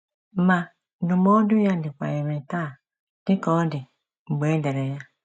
Ma, ndụmọdụ ya dịkwa irè taa dị ka ọ dị mgbe e dere ya.